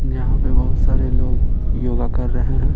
यहां पे बहुत सारे लोग योगा कर रहे हैं।